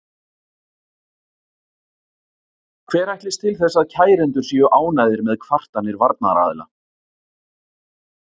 Hver ætlist til þess að kærendur séu ánægðir með kvartanir varnaraðila?